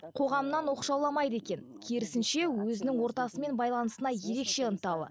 қоғамнан оқшауламайды екен керісінше өзінің ортасымен байланысына ерекше ынталы